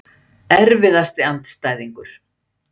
Erfiðasti andstæðingur?